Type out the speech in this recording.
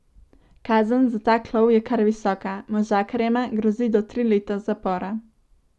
Kazen za tak lov je kar visoka, možakarjema grozi do tri leta zapora.